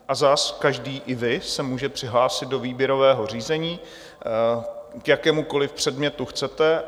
A zas každý, i vy, se může přihlásit do výběrového řízení, k jakémukoli předmětu chcete.